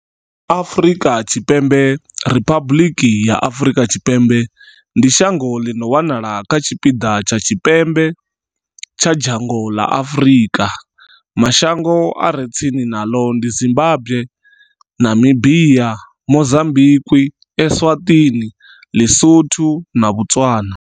Afrika Tshipembe Riphabuḽiki ya Afrika Tshipembe ndi shango ḽi no wanala kha tshipiḓa tsha tshipembe tsha dzhango ḽa Afurika. Mashango a re tsini naḽo ndi Zimbagwe, Namibia, Mozambikwi, Eswatini, Ḽi-Sotho na Botswana.